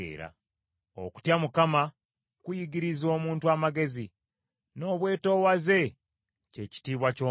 Okutya Mukama kuyigiriza omuntu amagezi, n’obwetoowaze kye kitiibwa ky’omuntu oyo.